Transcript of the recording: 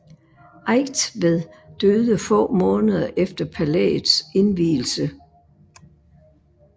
Eigtved døde få måneder efter palæets indvielse